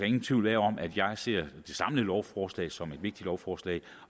ingen tvivl om at jeg ser det samlede lovforslag som et vigtigt lovforslag